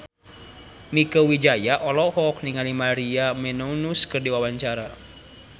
Mieke Wijaya olohok ningali Maria Menounos keur diwawancara